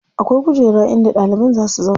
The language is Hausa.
Akwai kujera in da ɗalibai za si zauna.